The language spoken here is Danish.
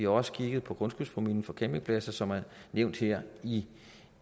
også kigget på grundskyldspromillen for campingpladser som er nævnt her i